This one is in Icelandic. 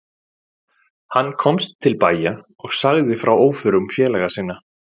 Hann komst til bæja og sagði frá óförum félaga sinna.